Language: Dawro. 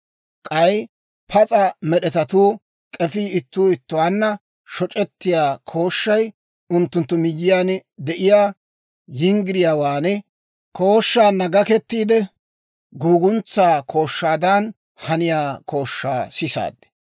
K'ay pas'a med'etatuu k'efii ittuu ittuwaanna shoc'ettiyaa kooshshay, unttunttu miyyiyaan de'iyaa yinggiriyaawaa kooshshaanna gakettiide, guuguntsaa kooshshaadan haniyaa kooshshaa sisaad.